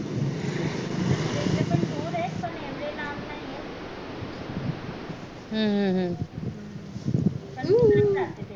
हम्म हम्म